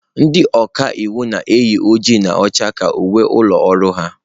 Ndị ọka iwu na-eyi oji na ọcha ka uwe ụlọ ọrụ ha.